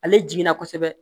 Ale jiginna kosɛbɛ